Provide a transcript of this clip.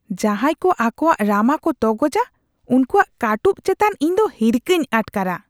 ᱡᱟᱦᱟᱸᱭ ᱠᱚ ᱟᱠᱚᱣᱟᱜ ᱨᱟᱢᱟ ᱠᱚ ᱛᱚᱜᱚᱡᱟ ᱩᱱᱠᱩᱣᱟᱜ ᱠᱟᱹᱴᱩᱵ ᱪᱮᱛᱟᱱ ᱤᱧᱫᱚ ᱦᱤᱨᱠᱷᱟᱹᱧ ᱟᱴᱠᱟᱨᱟ ᱾